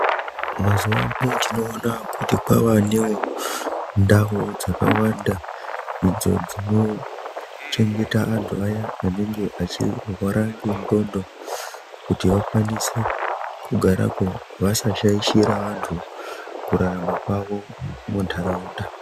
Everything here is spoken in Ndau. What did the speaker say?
Mazuwano tinoona kuti kwavanewo ndau dzakawanda, idzo dzinochengeta antu aya anenge achirwara ngendxondo, kuti vakwanise kugarako vasashaishira antu kurarama kwavo muntaraunda.